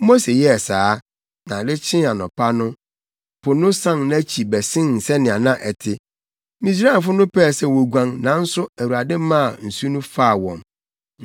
Mose yɛɛ saa, na ade kyee anɔpa no, po no san nʼakyi bɛsen sɛnea na ɛte. Misraimfo no pɛɛ sɛ woguan, nanso Awurade maa nsu no faa wɔn.